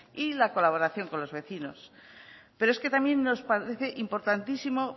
y la colaboración con los vecinos pero es que también nos parece importantísimo